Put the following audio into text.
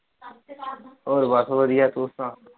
ਹੋਰ ਬਸ ਵਧੀਆ ਤੂੰ ਸੁਣਾ।